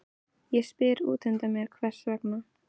Ég spyr útundan mér hvers vegna